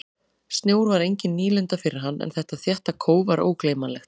Snjór var engin nýlunda fyrir hann en þetta þétta kóf var ógleymanlegt.